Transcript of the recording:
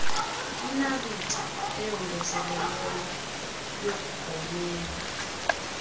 inaliti eyongezelelweyo yokugonyela